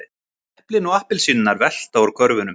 Eplin og appelsínurnar velta úr körfunum.